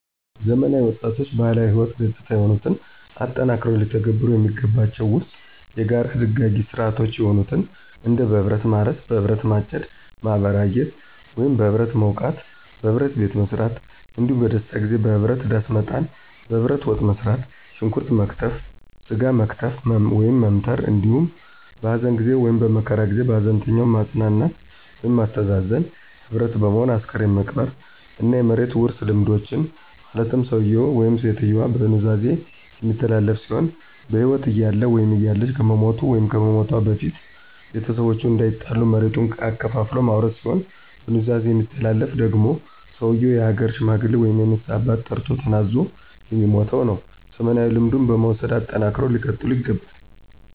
ዘመናዊ ወጣቶችባህላዊ ህይወት ገጽታ የሆኑትን አጠናክረው ሊተገብሩ የሚገባቸው ዉስጥ፣ የጋራ ድጋጊ ሥርዓቶች የሆኑትን እንደበህብረትማርስ፣ በህብረት ማጨድ፣ ማበራየት፣ (በህብረትመዉቃት)፣በህብረት ቤትመሥራት፣ እንዳሁም በደስታጊዜበህብረት ዳሥመጣል፣ በህብረት ወጥመሥራት፣ ሽንኩረት መክተፍ፣ ሥጋ መክተፍ(መምተር)አንዲሁም በሀዘንጊዜ(በመከራ ጊዜ) ሀዘንተኛዉን ማጽናናት ወይም ማስተዛዘንዘ ህብረት በመሆን አስክሬን መቅበር። እና የመሬት ዉርሥልምዶችን ማለትም ሠዉየዉ ( ሴትየዋ)በኑዛዜ የሚተላለፍ ሲሆን በህይወት እያለ(እያለች )ከመሞቱ(ከመሞቷ)በፊት ቤተሰቦቹ እንዳይጣሉ መሬቱን አከፋፍሎ ማውረስ ሲሆን፣ በኑዛዜ የሚተላለፍ ደግሟ ሰዉየው የሀገር ሽማግሌ ወይም የንስሀ አባት ጠርቶ ተናዞ የሚሟተዉነዉ። ዘመናዊ ልምዱን በመዉሰድ አጠናክረው ሊቀጥሉ ይገባል።